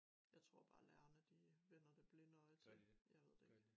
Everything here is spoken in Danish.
Jeg tror bare lærerne de øh vender det blinde øje til